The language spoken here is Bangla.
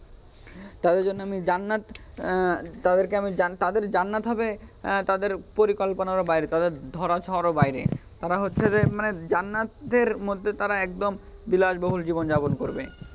তাদের জন্য আমি জান্নাত আহ তাদেরকে আমি তাদের জান্নাত হবে তাদের পরিকল্পনারও বাইরে তাদের ধরাছোঁয়ারও বাইরে তারা হচ্ছে যে মানে জান্নাতের মধ্যে তারা একদম বিলাসবহুল জীবনযাপন করবে.